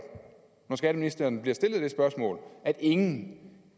når skatteministeren bliver stillet det spørgsmål at ingen